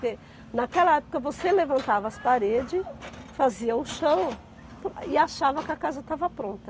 Porque, naquela época, você levantava as paredes, fazia o chão e achava que a casa estava pronta.